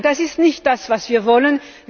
Nein, das ist nicht das, was wir wollen.